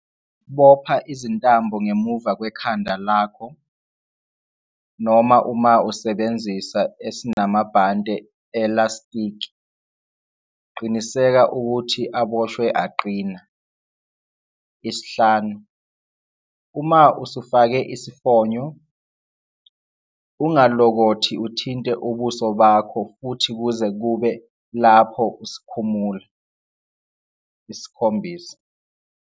Bopha izintambo ngemuva kwekhanda lakho, noma uma usebenzisa esinamabhande elastiki, qiniseka ukuthi aboshwe aqina. 5. Uma usufake isifonyo, UNGA LOKOTHI UTHINTE UBUSO BAKHO futhi kuze kube lapho usikhumula. 7.